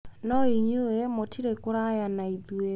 No inyuĩ mũtirĩ kũraya na ithuĩ.